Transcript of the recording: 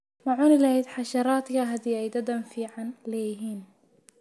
Ma cuni lahayd xasharaadka haddii ay dhadhan fiican leeyihiin?